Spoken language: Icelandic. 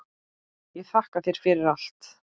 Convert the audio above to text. Ég þakka þér fyrir allt.